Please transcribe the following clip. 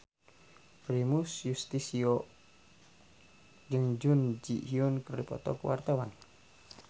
Primus Yustisio jeung Jun Ji Hyun keur dipoto ku wartawan